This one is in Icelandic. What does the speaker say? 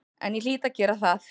En ég hlýt að gera það.